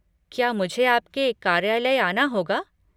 क्या मुझे आपके कार्यालय आना होगा?